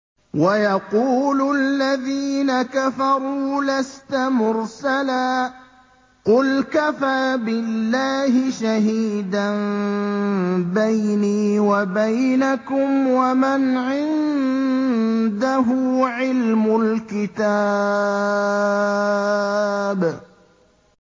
وَيَقُولُ الَّذِينَ كَفَرُوا لَسْتَ مُرْسَلًا ۚ قُلْ كَفَىٰ بِاللَّهِ شَهِيدًا بَيْنِي وَبَيْنَكُمْ وَمَنْ عِندَهُ عِلْمُ الْكِتَابِ